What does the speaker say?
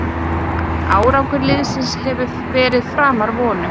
Árangur liðsins hefur verið framar vonum